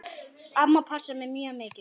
Amma passaði mig mjög mikið.